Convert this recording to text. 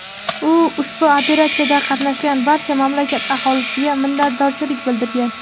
u ushbu operatsiyada qatnashgan barcha mamlakat aholisiga minnatdorchilik bildirgan.